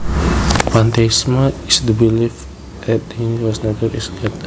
Pantheism is the belief that the universe nature is God